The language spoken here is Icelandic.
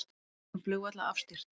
Lokun flugvalla afstýrt